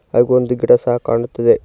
ಹಾಗೆ ಒಂದು ಗಿಡ ಸಹ ಕಾಣುತ್ತದೆ.